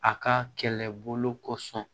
A ka kɛlɛbolo kosɔn